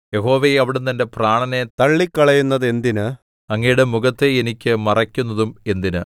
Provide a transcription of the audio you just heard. യഹോവേ അവിടുന്ന് എന്റെ പ്രാണനെ തള്ളിക്കളയുന്നതെന്തിന് അങ്ങയുടെ മുഖത്തെ എനിക്ക് മറയ്ക്കുന്നതും എന്തിന്